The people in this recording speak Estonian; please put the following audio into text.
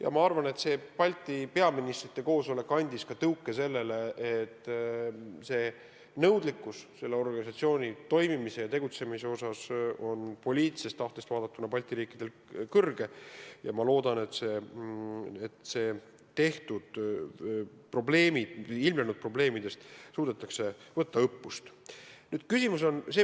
Aga ma arvan, et Balti peaministrite koosolek andis tõuke, et nõudlikkus selle organisatsiooni tegutsemise vastu on tänu poliitilisele tahtele Balti riikidel suur, ja ma loodan, et ilmnenud probleemidest suudetakse õppust võtta.